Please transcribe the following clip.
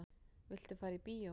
Viltu fara í bíó?